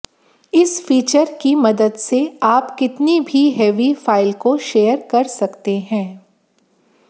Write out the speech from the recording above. इस फीचर की मदद से आप कितनी भी हेवी फाइल को शेयर कर सकते हैं